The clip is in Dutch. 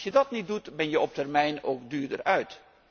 Als je dat niet doet ben je op termijn ook duurder uit.